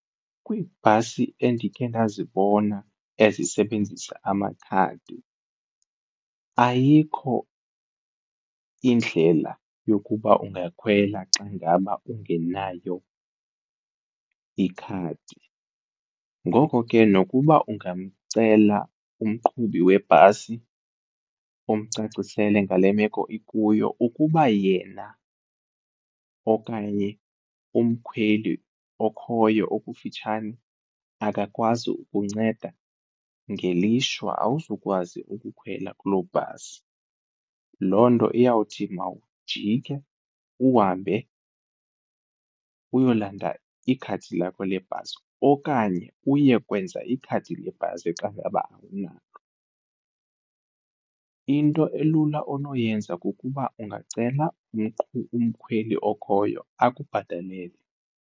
Kwiibhasi endikhe ndazibona ezisebenzisa amakhadi ayikho indlela yokuba ungakhwela xa ngaba ungenayo ikhadi. Ngoko ke nokuba ungamcela umqhubi webhasi umcacisele ngale meko ikuyo, ukuba yena okanye umkhweli okhoyo okufitshane akakwazi ukunceda ngelishwa awuzukwazi ukukhwela kuloo bhasi. Loo nto iyawuthi mawujike uhambe uyolanda ikhadi lakho lebhasi okanye uye kwenza ikhadi lebhasi xa ngaba awunalo. Into elula onoyenza kukuba ungacela umkhweli okhoyo akubhatalele.